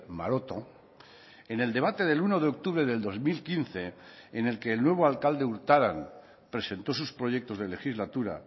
maroto en el debate del uno de octubre del dos mil quince en el que el nuevo alcalde urtaran presentó sus proyectos de legislatura